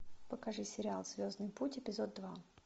покажи сериал звездный путь эпизод два